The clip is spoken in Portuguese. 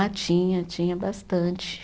Ah, tinha, tinha bastante.